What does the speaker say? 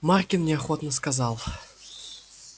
маркин неохотно сказал